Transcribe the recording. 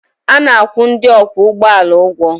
A na-akwụ ndị ọkwọ ụgbọala ụgwọ